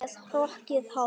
Með hrokkið hár.